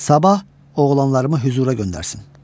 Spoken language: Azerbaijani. Sabah oğlanlarımı hüzura göndərsin.